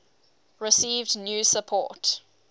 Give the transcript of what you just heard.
received new support